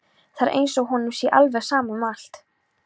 Það er eins og honum sé alveg sama um allt.